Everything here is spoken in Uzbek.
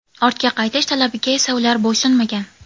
Ortga qaytish talabiga esa ular bo‘ysunmagan.